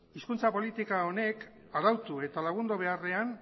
hizkuntza politika honek arautu eta lagundu beharrean